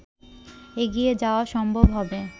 এগিয়ে যাওয়া সম্ভব হবে